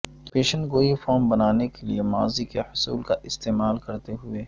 پیشن گوئی فارم بنانے کے لئے ماضی کے حصول کا استعمال کرتے ہوئے